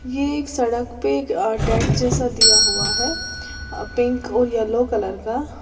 ये एक सड़क पे एक टेंट जैसा दिया हुआ है पिंक और येलो कलर का।